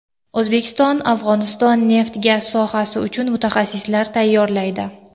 O‘zbekiston Afg‘oniston neft-gaz sohasi uchun mutaxassislar tayyorlaydi.